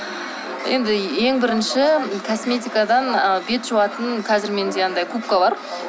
енді ең бірінші косметикадан ы бет жуатын қазір менде андай губка бар